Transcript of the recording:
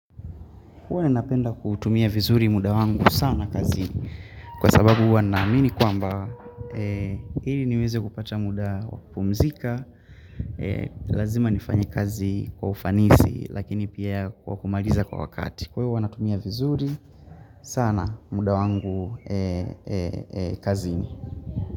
Huwa ninapenda kuutumia vizuri muda wangu sana kazini Kwa sababu huwa naamini kwamba ili niweze kupata muda wa kupumzika Lazima nifanye kazi kwa ufanisi lakini pia kumaliza kwa wakati Kwa hiyo huwa natumia vizuri sana muda wangu kazini.